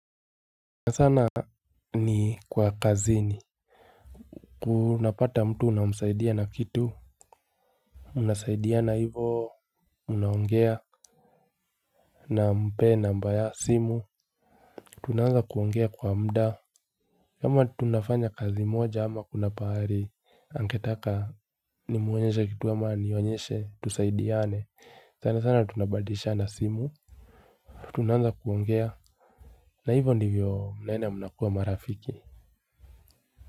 Sana sana ni kwa kazini unapata mtu unamsaidia na kitu. Unasaidiana hivo. Unaongea. Nampee namba ya simu. Tunaanza kuongea kwa mda. Kama tunafanya kazi moja ama kuna pahali angetaka ni muonyeshe kitu ama anionyeshe tusaidiane sana sana tunabadilishana simu. Tunaanza kuongea na hivo ndivyo mnaenda mnakua marafiki.